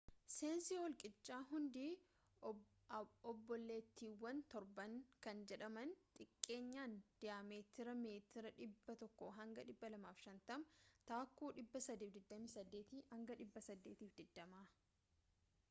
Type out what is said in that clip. seensi holqichaa hundi obbooleettiiwan torban” kan jedhaman xiqqeenyaan diyaametiridhaan meetiira 100 hanga 250 taakkuu 328-820